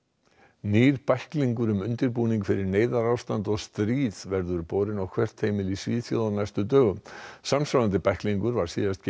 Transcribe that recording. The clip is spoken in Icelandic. nýr bæklingur um undirbúning fyrir neyðarástand og stríð verður borinn á hvert heimili í Svíþjóð á næstu dögum samsvarandi bæklingur var síðast gefinn